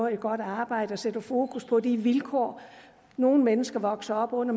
et godt arbejde og sætter fokus på de vilkår nogle mennesker vokser op under